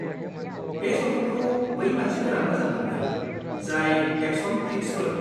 बे सावथुनखौ बै मानसिफोरा मोजां मोनगोन जाय एक्शन फ्लिक्सफोर।